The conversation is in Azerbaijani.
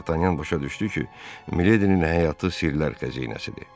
Dartanyan başa düşdü ki, Miledinin həyatı sirlər xəzinəsidir.